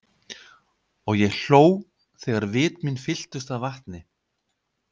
Og ég hló þegar vit mín fylltust af vatni.